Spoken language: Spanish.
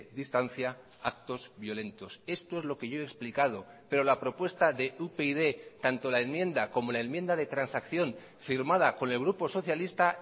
distancia actos violentos esto es lo que yo he explicado pero la propuesta de upyd tanto la enmienda como la enmienda de transacción firmada con el grupo socialista